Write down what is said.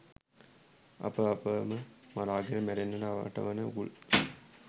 අප අපම මරාගෙන මැරෙන්නට අටවන උගුල්